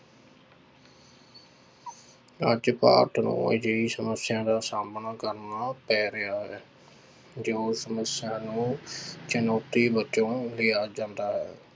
ਅੱਜ ਭਾਰਤ ਨੂੰ ਅਜਿਹੀ ਸਮੱਸਿਆ ਦਾ ਸਾਹਮਣਾ ਕਰਨਾ ਪੈ ਰਿਹਾ ਹੈ, ਜੋ ਸਮੱਸਿਆ ਨੂੰ ਚੁਣੋਤੀ ਵਜੋਂ ਲਿਆ ਜਾਂਦਾ ਹੈ।